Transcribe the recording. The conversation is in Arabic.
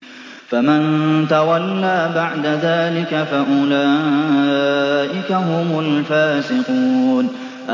فَمَن تَوَلَّىٰ بَعْدَ ذَٰلِكَ فَأُولَٰئِكَ هُمُ الْفَاسِقُونَ